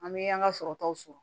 An bɛ an ka sɔrɔtaw sɔrɔ